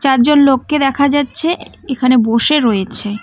চারজন লোককে দেখা যাচ্ছে এখানে বসে রয়েছে।